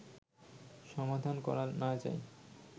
সমাধান করা না যায়